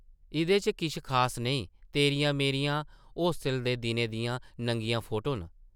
इʼदे च किश खास नेईं, तेरियां-मेरियां होस्टल दे दिनें दियां नंगियां फोटो न ।